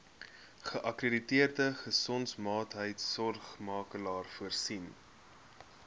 geakkrediteerde gesondheidsorgmakelaar voorsien